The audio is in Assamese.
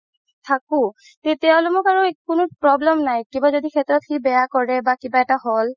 থাকো তেতিয়া হ'লে আৰ মোৰ একো কোনো problem নাই কিবা য্দি শেত্ৰ সি বেয়া কৰে বা কিবা এটা হ'ল